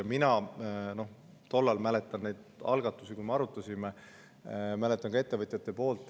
Mina tollest ajast mäletan neid algatusi, kui me seda arutasime, mäletan ka ettevõtjate poolt.